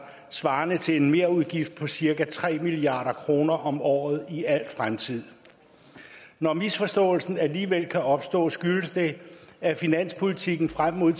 svarende til en merudgift på cirka tre milliard kroner om året i al fremtid når misforståelsen alligevel kan opstå skyldes det at finanspolitikken frem mod